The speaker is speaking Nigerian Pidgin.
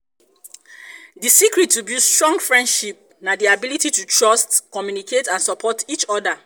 di secret to build strong friendship na di ability to trust communicate and support each oda.